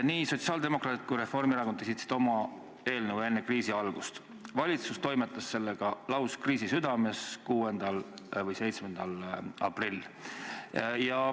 Nii sotsiaaldemokraadid kui ka Reformierakond esitasid oma eelnõu enne kriisi algust, valitsus toimetas sellega lauskriisi südames, 6. või 7. aprillil.